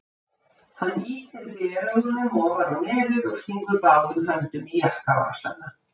Hann ýtir gleraugunum ofar á nefið og stingur báðum höndum í jakkavasana.